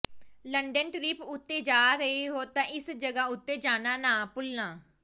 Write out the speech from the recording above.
London trip ਉਤੇ ਜਾ ਰਹੇ ਹੋ ਤਾਂ ਇਸ ਜਗ੍ਹਾਂ ਉਤੇ ਜਾਣਾ ਨਾ ਭੁੱਲਣਾ